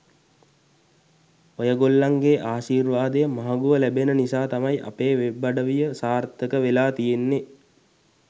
ඔයගොල්ලන්ගේ ආශීර්වාදය මහඟුව ලැබෙන නිසා තමයි අපේ වෙබ් අඩවිය සාර්ථක වෙලා තියෙන්නේ.